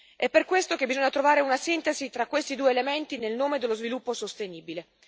È per questo che bisogna trovare una sintesi tra questi due elementi nel nome dello sviluppo sostenibile.